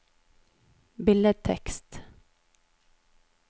billedtekst